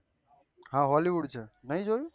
હા હોલીવૂડ છે નહી જોયું